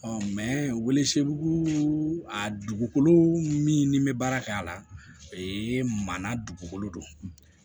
wele segu a dugukolo min ni bɛ baara kɛ a la o ye manana dugukolo don